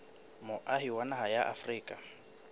moahi wa naha ya afrika